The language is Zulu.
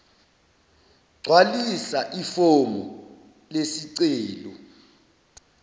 gcwalisa ifomu lesicelo